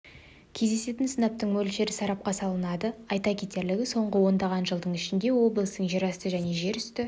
кездесетін сынаптың мөлшері сарапқа салынады айта кетерлігі соңғы ондаған жыл ішінде облыстың жерасты және жерүсті